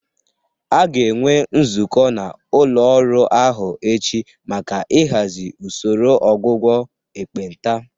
A ga-enwe nzukọ n'ụlọ ọrụ ahụ echi maka ịhazi usoro ọgwụgwọ ekpenta